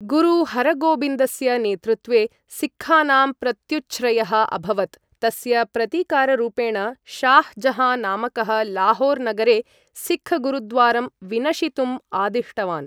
गुरु हरगोबिन्दस्य नेतृत्वे सिक्खानां प्रत्युछ्रयः अभवत् तस्य प्रतीकाररूपेण शाह् जहाँ नामकः लाहोर् नगरे सिक्ख गुरुद्वारं विनशितुम् आदिष्टवान्।